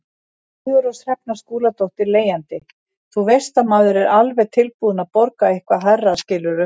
Sigurrós Hrefna Skúladóttir, leigjandi: Þú veist, maður er alveg tilbúin að borga eitthvað hærra skilurðu?